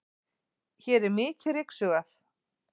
hér er mikið ryksugað